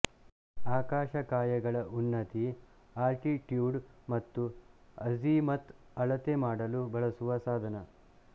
ಆಕಾಶಕಾಯಗಳ ಉನ್ನತಿ ಅಲ್ಟಿಟ್ಯೂಡ್ ಮತ್ತು ಅಝಿಮತ್ ಅಳತೆ ಮಾಡಲು ಬಳಸುವ ಸಾಧನ